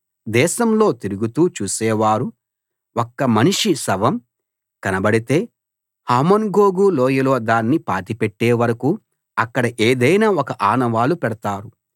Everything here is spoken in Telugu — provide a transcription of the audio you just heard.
దేశంలో తిరుగుతూ చూసేవారు ఒక్క మనిషి శవం కనబడితే హమోన్గోగు లోయలో దాన్ని పాతిపెట్టే వరకూ అక్కడ ఏదైన ఒక ఆనవాలు పెడతారు